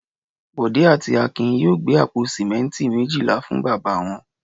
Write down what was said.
Bọ̀dé àti Akin yóò gbé àpò sìmẹ́ńtì méjìlá fún bàbá wọn.